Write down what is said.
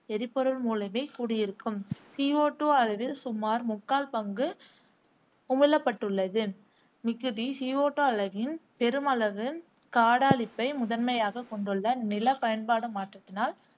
எரிபொருள் மூலமே கூடியிருக்கும் சி ஓ டூ அளவில் சுமார் முக்கால் பங்கி உமிழப்பட்டுள்ளது. மிகுதி சி ஓ டூ அளவில் பெருமளவு காடழிப்பை முதன்மையகக் கொண்ட நில பயன்பாடு மாற்றத்தினால்